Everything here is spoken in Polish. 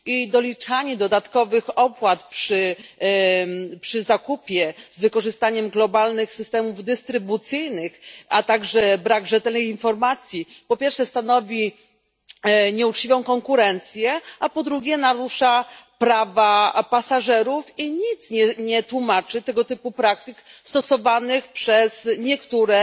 Doliczanie dodatkowych opłat przy zakupie z wykorzystaniem globalnych systemów dystrybucyjnych, a także brak rzetelnej informacji po pierwsze stanowi nieuczciwą konkurencję, a po drugie narusza prawa pasażerów i nic nie tłumaczy tego typu praktyk stosowanych przez niektóre